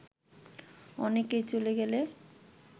অনেকেই চলে গেলে